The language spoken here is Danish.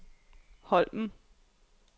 Holmen